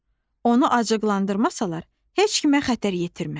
Onu acıqlandırmasalar, heç kimə xətər yetirməz.